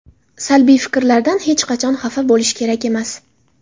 Salbiy fikrlardan hech qachon xafa bo‘lish kerak emas.